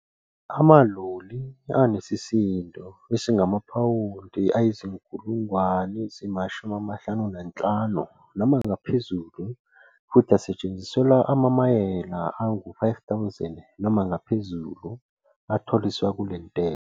Amaloli anesisindo esingamaphawundi angama-55,000 noma ngaphezulu futhi asetshenziselwa amamayela angama-5,000 noma ngaphezulu atholiswa kule ntela.